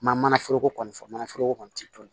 Ma mana foroko kɔni fɔ manaforoko kɔni tɛ dun